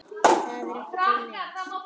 Það er ekki til neins.